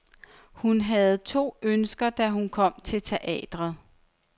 Hun havde to ønsker, da hun kom til teatret.